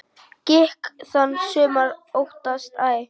Gikk þann sumir óttast æ.